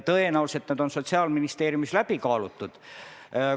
Tõenäoliselt on need Sotsiaalministeeriumis läbi kaalutud.